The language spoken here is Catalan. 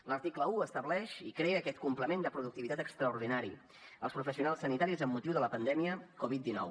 l’article un estableix i crea aquest complement de productivitat extraordinari als professionals sanitaris amb motiu de la pandèmia covid dinou